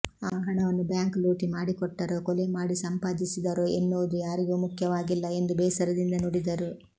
ಆ ಹಣವನ್ನು ಬ್ಯಾಂಕ್ ಲೂಟಿ ಮಾಡಿ ಕೂಡಿಟ್ಟರೊ ಕೊಲೆ ಮಾಡಿ ಸಂಪಾದಿಸಿದರೊ ಎನ್ನುವುದು ಯಾರಿಗೂ ಮುಖ್ಯವಾಗಿಲ್ಲ ಎಂದು ಬೇಸರದಿಂದ ನುಡಿದರು